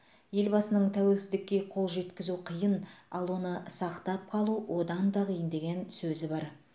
елбасының тәуелсіздікке қол жеткізу қиын ал оны сақтап қалу одан да қиын деген сөзі бар